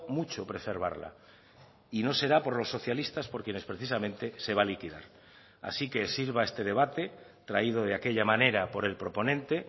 mucho preservarla y no será por los socialistas por quienes precisamente se va a liquidar así que sirva este debate traído de aquella manera por el proponente